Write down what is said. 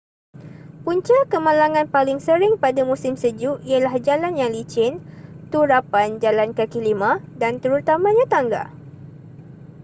punca kemalangan paling sering pada musim sejuk ialah jalan yang licin turapan jalan kaki lima dan terutamanya tangga